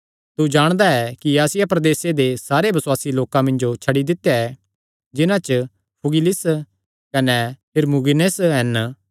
तू जाणदा ऐ कि आसिया प्रदेसे दे सारे बसुआसी लोकां मिन्जो छड्डी दित्या ऐ जिन्हां च फूगिलुस कने हिरमुगिनेस हन